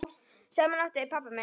Saman áttu þau pabba minn.